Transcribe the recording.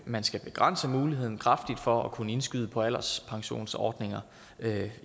man skal begrænse muligheden kraftigt for at kunne indskyde på alderspensionsordninger